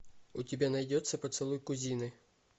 у тебя найдется поцелуй кузины